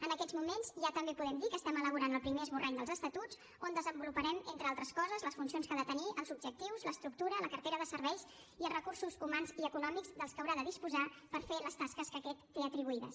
en aquests moments ja també podem dir que estem elaborant el primer esborrany dels estatuts on desenvoluparem entre altres coses les funcions que ha de tenir els objectius l’estructura la cartera de serveis i els recursos humans i econòmics de què haurà de disposar per fer les tasques que aquest té atribuïdes